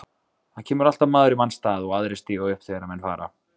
Það kemur alltaf maður í manns stað og aðrir stíga upp þegar menn fara.